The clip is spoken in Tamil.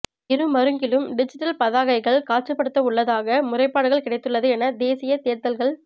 இரு மருங்கிலும் டிஜிட்டல் பதாகைகள் காட்சிப்படுத்தவுள்ளதாக முறைப்பாடுகள் கிடைத்துள்ளது என தேசிய தேர்தல்கள்